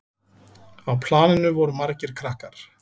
Á planinu voru margir krakkar.